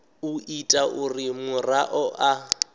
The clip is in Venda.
u ita uri muraḓo a